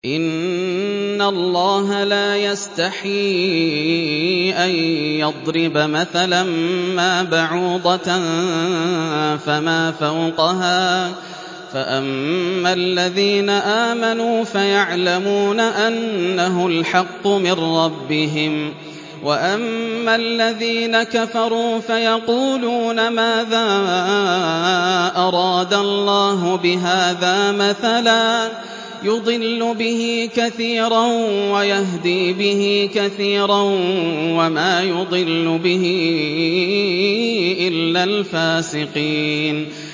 ۞ إِنَّ اللَّهَ لَا يَسْتَحْيِي أَن يَضْرِبَ مَثَلًا مَّا بَعُوضَةً فَمَا فَوْقَهَا ۚ فَأَمَّا الَّذِينَ آمَنُوا فَيَعْلَمُونَ أَنَّهُ الْحَقُّ مِن رَّبِّهِمْ ۖ وَأَمَّا الَّذِينَ كَفَرُوا فَيَقُولُونَ مَاذَا أَرَادَ اللَّهُ بِهَٰذَا مَثَلًا ۘ يُضِلُّ بِهِ كَثِيرًا وَيَهْدِي بِهِ كَثِيرًا ۚ وَمَا يُضِلُّ بِهِ إِلَّا الْفَاسِقِينَ